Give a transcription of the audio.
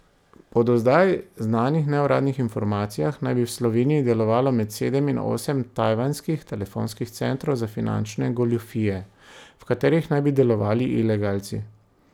Po do zdaj znanih neuradnih informacijah naj bi v Sloveniji delovalo med sedem in osem tajvanskih telefonskih centrov za finančne goljufije, v katerih naj bi delovali ilegalci.